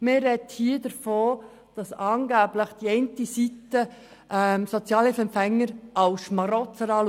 Man spricht hier davon, dass die eine Seite Sozialhilfeempfänger angeblich als Schmarotzer betrachtet.